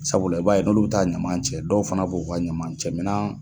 Sabula i b'a ye dɔlu bɛ taa ɲuman cɛ , dɔw fana b'o ka ɲama cɛ minan.